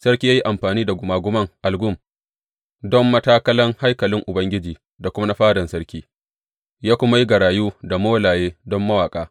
Sarki ya yi amfani da gungumen algum don matakalan haikalin Ubangiji da kuma na fadan sarki, ya kuma yi garayu da molaye don mawaƙa.